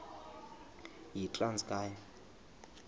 yitranskayi